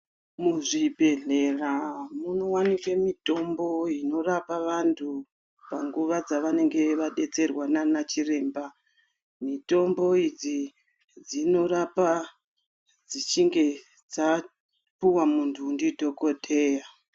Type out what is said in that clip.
Muzvibhehlera munowanikwe mitombo inorapa vantu panguwa dzavanenge vadetserwa nana chiremba. Mitombo dzinorapa dzichinge dzapuwa muntu ndidhokoteya.